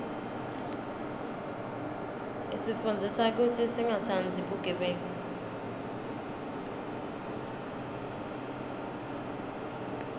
isifundzisa kutsi singatsandzi bugebengu